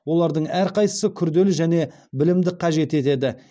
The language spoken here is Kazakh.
олардың әрқайсысы күрделі және білімді қажет етеді